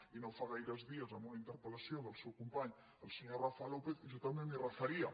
i no fa gaires dies amb una interpel·lació del seu company el senyor rafa lópez jo també m’hi referia